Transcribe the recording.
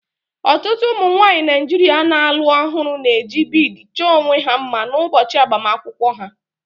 Ọtụtụ ụmụ nwanyị Naijiria na-alụ ọhụrụ na-eji bead chọọ onwe ha mma n'ụbọchị agbamakwụkwọ ha